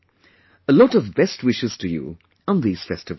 A lot of best wishes to you on these festivals